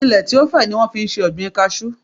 Ilẹ tí ó fẹ̀ ni wọ́n fi ń se ọ̀gbìn kajú.